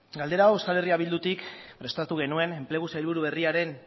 galdera hau euskal herria bildutik prestatu genuen enplegu sailburu berriaren